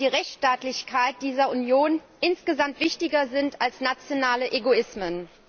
die Rechtsstaatlichkeit dieser Union insgesamt wichtiger sind als nationale Egoismen.